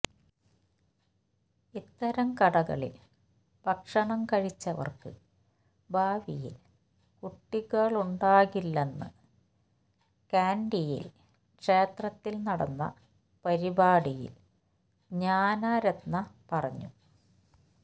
ഇത്തരം കടകളിൽ ഭക്ഷണം കഴിച്ചവർക്ക് ഭാവിയിൽ കുട്ടികളുണ്ടാകില്ലെന്നും കാൻഡിയിൽ ക്ഷേത്രത്തിൽ നടന്ന പരിപാടിയിൽ ജ്ഞാന രത്ന പറഞ്ഞു